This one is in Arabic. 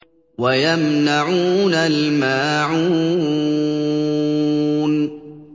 وَيَمْنَعُونَ الْمَاعُونَ